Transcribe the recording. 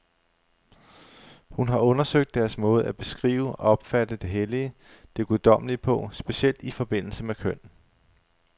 Hun har undersøgt deres måde at beskrive, opfatte det hellige, det guddommelige på, specielt i forbindelse med køn.